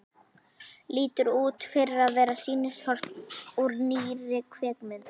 Lítur út fyrir að vera sýnishorn úr nýrri kvikmynd.